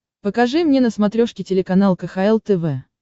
покажи мне на смотрешке телеканал кхл тв